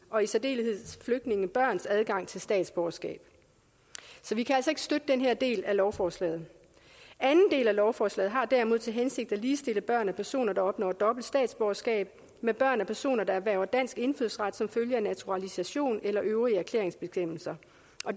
og i særdeleshed flygtningebørns adgang til statsborgerskab så vi kan altså ikke støtte den her del af lovforslaget anden del af lovforslaget har derimod til hensigt at ligestille børn af personer der opnår dobbelt statsborgerskab med børn af personer der erhverver dansk indfødsret som følge af naturalisation eller øvrige erklæringsbestemmelser